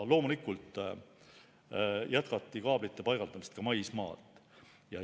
Loomulikult jätkati kaablite paigaldamist ka maismaal.